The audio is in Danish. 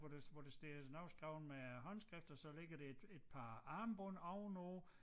Hvor der hvor der står noget skrevet med øh håndskrift og så ligger der et et par armbånd ovenpå